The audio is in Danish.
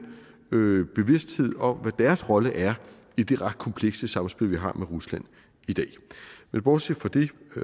bevidsthed om hvad deres rolle er i det ret komplekse samspil vi har med rusland i dag men bortset fra det